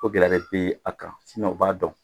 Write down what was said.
O gɛlɛya de bɛ a kan u b'a dɔn